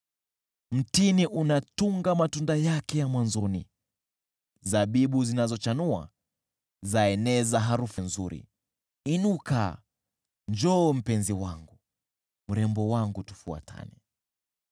Mtini unatunga matunda yake ya mwanzoni, zabibu zinazochanua zaeneza harufu nzuri. Inuka, njoo mpenzi wangu. Mrembo wangu, tufuatane.”